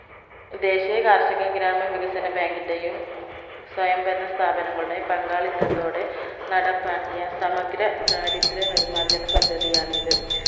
ദേശീയ കാർഷിക ഗ്രാമ വികസന bank ന്റെയും സ്വയംഭരണ സ്ഥാപങ്ങളുടെ പങ്കാളിത്തത്തോടെ നടപ്പാക്കിയ സമഗ്ര ദാരിദ്ര നിർമാർജന പദ്ധതിയാണിത്